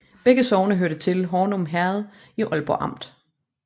Begge sogne hørte til Hornum Herred i Ålborg Amt